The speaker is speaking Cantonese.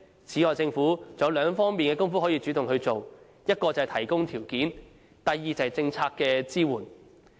此外，政府還有兩方面的工夫可以主動去做：一是提供條件，二是政策支援。